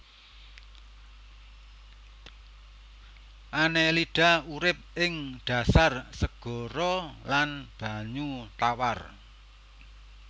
Annelida urip ing dhasar segara lan banyu tawar